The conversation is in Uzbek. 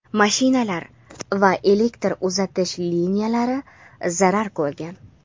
mashinalar va elektr uzatish liniyalari zarar ko‘rgan.